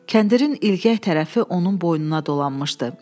Kəndirin ilgəy tərəfi onun boynuna dolanmışdı.